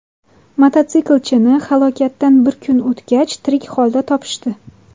Mototsiklchini halokatdan bir kun o‘tgach tirik holda topishdi.